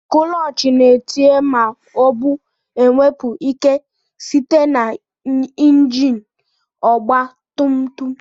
Kulochi na-etinye ma obu enwepu ike site na injin ọgba tum tum